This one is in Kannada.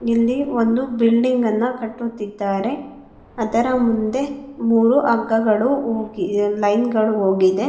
ಇಲ್ಲಿ ಒಂದು ಬಿಲ್ಡಿಂಗ್ ನ ಕಟ್ಟುತ್ತಿದ್ದಾರೆ ಅದರ ಮುಂದೆ ಮೂರು ಹಗ್ಗಗಳು ಹೋಗಿ ಲೈನ್ ಗಳು ಹೋಗಿದೆ.